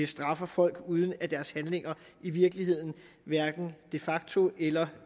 straffer folk uden at deres handlinger i virkeligheden hverken de facto eller